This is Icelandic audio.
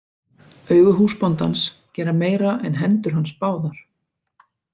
Augu húsbóndans gera meira en hendur hans báðar.